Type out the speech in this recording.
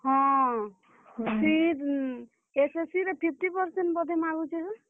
ହଁ, ସେ SSC ରେ fifty percent ବୋଧେ ମାଗୁଛେ ହୋ।